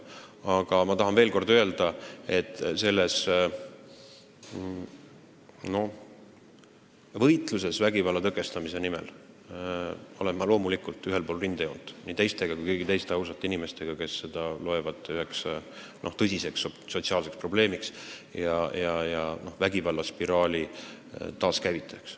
Aga ma tahan veel kord öelda, et võitluses vägivalla tõkestamise nimel olen ma loomulikult ühel pool rindejoont nii teiega kui ka kõigi teiste ausate inimestega, kes peavad seda tõsiseks sotsiaalseks probleemiks ja vägivallaspiraali taaskäivitajaks.